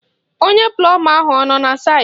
Onye plọma ahụ ọ nọ na saịtị?